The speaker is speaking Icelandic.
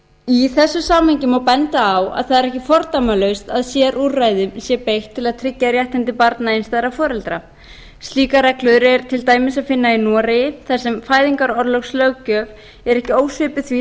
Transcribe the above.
í þessu samhengi má benda á að það er ekki fordæmalaust að sérúrræðum sé beitt til að tryggja réttindi barna einstæðra foreldra slíkar reglur er til dæmis að finna í noregi þar sem fæðingarorlofslöggjöf er ekki ósvipuð því